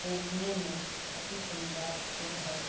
देखने में अति सुंदर पुल है।